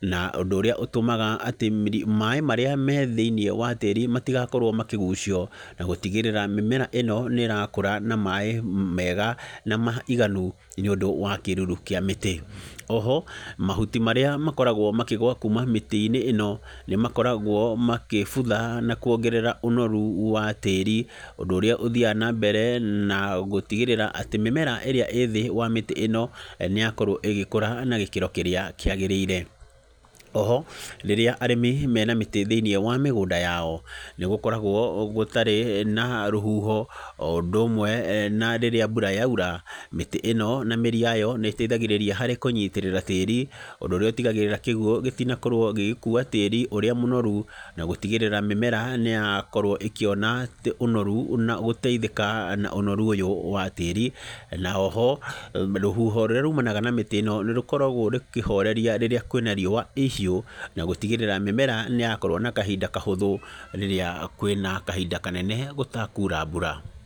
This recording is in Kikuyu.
na ũndũ ũrĩa ũtũmaga atĩ maĩ marĩa me thĩiniĩ wa tĩri matigakorwo makĩgũcio, na gũtigĩrĩra mĩmera ĩno nĩ ĩrakũra na maĩ mega na maiganu nĩ ũndũ wa kĩruru kĩa mĩtĩ. Oho, mahuti marĩa makoragwo makĩgũa kuuma mĩtĩ-inĩ ĩno, nĩ makoragwo makĩbutha na kuongerera ũnoru wa tĩri, ũndũ ũrĩa ũthiaga na mbere na gũtigĩrĩra atĩ mĩmera ĩrĩa ĩĩ thĩ mĩtĩ ĩno, nĩ yakorwo ĩgĩkũra na gĩkĩro kĩrĩa kĩagĩrĩire. Oho, rĩrĩa arĩmi mena mĩtĩ thĩiniĩ wa mĩgũnda yao, nĩ gũkoragwo gũtarĩ na rũhuho, o ũndũ ũmwe na rĩrĩa mbura yaura, mĩtĩ ĩno na mĩri yayo nĩ ĩteithagĩrĩria harĩ kũnyitĩrĩra tĩri, ũndũ ũrĩa ũtigagĩrĩra kĩguũ gĩtinakorwo gĩgĩkuua tĩri ũrĩa mũnoru, na gũtigĩrĩra mĩmera nĩ yakorwo ĩkĩona ũnoru na gũteithĩka na ũnoru ũyũ wa tĩri. Na oho, rũhuho rũrĩa rumanaga na mĩtĩ ĩno nĩ rũkoragwo rũkĩhoreria rĩrĩa kwĩna riũa ihiũ, na gũtigĩrĩra mĩmera nĩ yakorwo na kahinda kahũthũ rĩrĩa kwĩna kahinda kanene gũtakuura mbura.